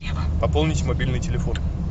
пополнить мобильный телефон